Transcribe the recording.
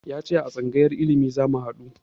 Ya ce a tsangayar ilimi zamu haɗu